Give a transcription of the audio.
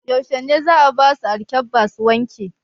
Yaushe ne za'a basu alƙebba su wanke?